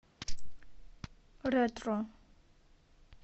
ретро